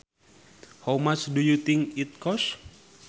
How much do you think it costs